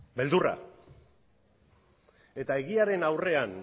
beldurra eta egiaren aurrean